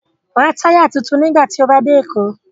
Ra táyà tuntun nígbà tí o bá dé Èkó